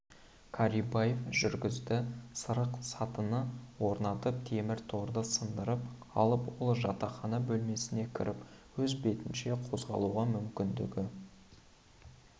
карибаев жүргізді сырық-сатыны орнатып темір торды сындырып алып ол жатақхана бөлмесіне кіріп өз бетінше қозғалуға мүмкіндігі